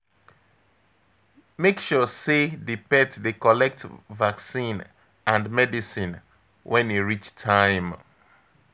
Make sure sey di pet dey collect vaccine and medicine when e reach time